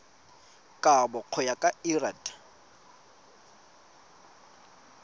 kabo go ya ka lrad